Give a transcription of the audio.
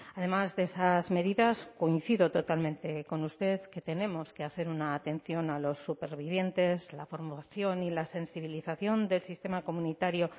además de esas medidas coincido totalmente con usted que tenemos que hacer una atención a los supervivientes la formación y la sensibilización del sistema comunitario